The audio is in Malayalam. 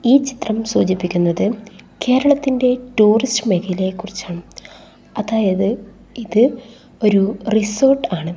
ഈ ചിത്രം സൂചിപ്പിക്കുന്നത് കേരളത്തിന്റെ ടൂറിസ്റ്റ് മേഖലയെക്കുറിച്ച് ആണ് അതായത് ഇത് ഒരു റിസോർട്ട് ആണ്.